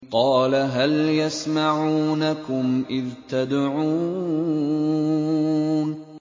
قَالَ هَلْ يَسْمَعُونَكُمْ إِذْ تَدْعُونَ